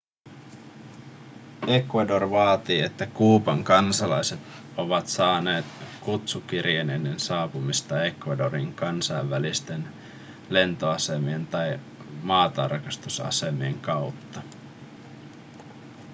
ecuador vaatii että kuuban kansalaiset ovat saaneet kutsukirjeen ennen saapumista ecuadoriin kansainvälisten lentoasemien tai maatarkastusasemien kautta